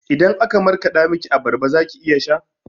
Idan aka markaɗa miki abarba zaki iya sha?